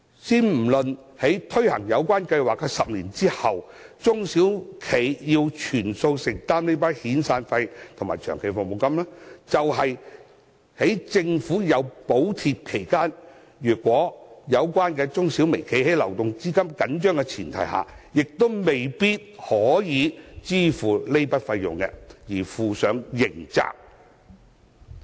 先不論在推行有關計劃10年後，中小微企須全數承擔遣散費及長期服務金，即使在政府提供補貼期間，如果有關中小微企因流動資金緊張而未能夠支付這筆費用，亦要負上刑責。